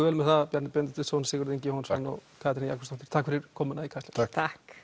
vel með það Bjarni Benediktsson Sigurður Ingi Jóhannsson og Katrín Jakobsdóttir takk fyrir komuna í Kastljós takk takk